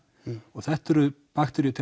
og þetta eru bakteríur